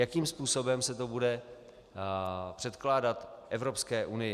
Jakým způsobem se to bude předkládat Evropské unii.